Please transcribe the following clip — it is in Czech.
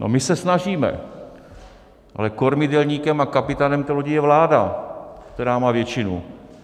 No, my se snažíme, ale kormidelníkem a kapitánem té lodi je vláda, která má většinu.